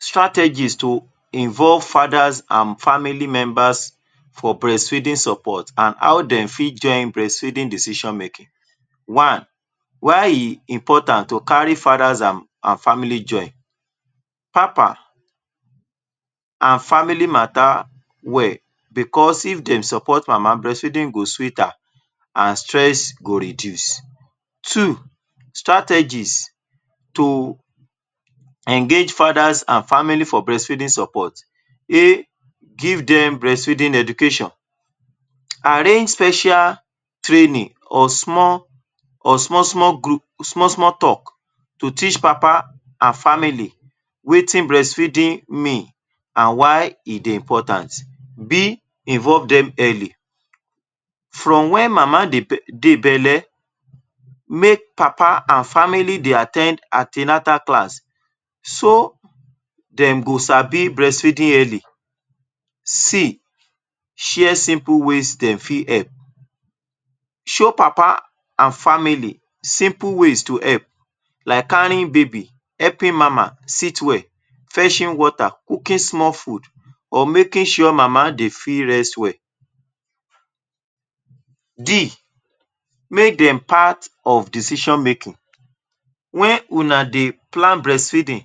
Strategy to involve fadas and family members for breastfeeding support and how dem fit join breast feeding decision making? One: why e important to kari father and family join papa, na family mata well because if dem suppot mama breast feeding go sweet am and stress go reduce. Two: strategies to engage fathers and family for breastfeeding support A: give dem breast feeding education, arrange special training or small-small talk to teach papa and family wetin breast feeding mean and why e dey important. B: involve dem early, from wen mama de dey bele make papa and family dey at ten d anti-natal class so dem go sabi breats fedding early. C: share simple wey dem fit help, show papa and family simple way to help like kariying baby, helping mama sit well, feshing water, cooking small food or make sure mama dey rest well. D: make dem part of decision making, make una dey plan brestfeeding,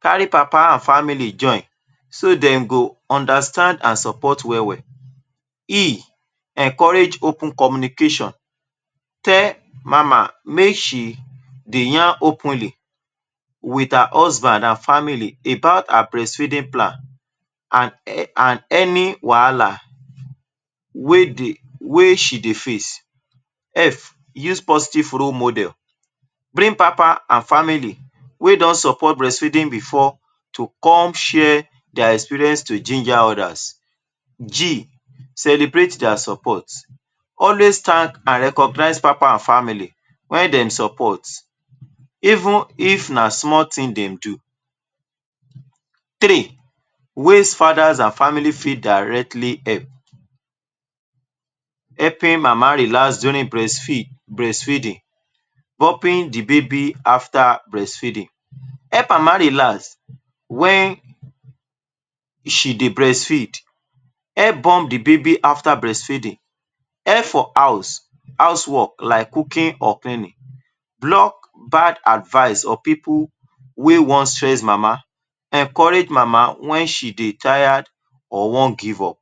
kari papa and family join so dem go understand and support well-well. E: encourage open communication, tell mama mey she dey yarn openly with her husband and family about her breastfeeding plan and any wahala wey she dey face F: use positive role model, bring papa and family wey don support breastfeeding before to come share dia experience to ginger others. G: celebrate dia support, always tank papa and family wen dem support even if na small tin dem do. Three: ways father and family directly fit help, helping mama to relax during breastfeeding, burping the baby after breast feeding. Help mama relax wen she dey breast feed, help burp the baby after breast feeding. Help for house, house work like cooking or cleaning, block bad advice or people wey wan stress mama, encourage mama wen she dey tire or wan give up.